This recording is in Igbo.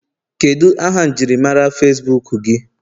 Kedu aha njirimara Facibuku gị?